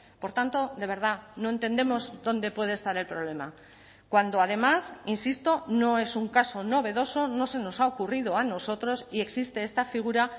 por tanto de verdad no entendemos dónde puede estar el problema cuando además insisto no es un caso novedoso no se nos ha ocurrido a nosotros y existe esta figura